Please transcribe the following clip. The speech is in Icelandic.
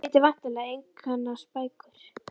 Eins og þið vitið væntanlega einkennast bækur